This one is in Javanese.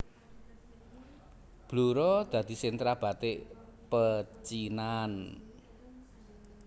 Blora dadi sentra batik pecinan